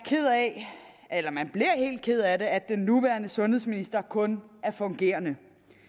helt ked af at den nuværende sundhedsminister kun er fungerende